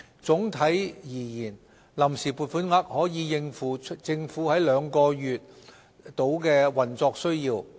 總體而言，臨時撥款額可應付政府約2個月的運作需要。